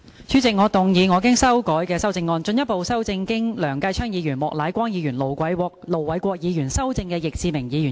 主席，我動議我經修改的修正案，進一步修正經梁繼昌議員、莫乃光議員及盧偉國議員修正的易志明議員議案。